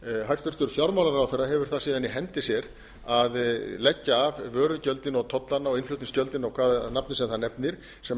hæstvirtur fjármálaráðherra hefur það síðan í hendi sér að leggja af vörugjöldin og tollana og innflutningsgjöldin og hvaða nafni sem það nefnist sem á þennan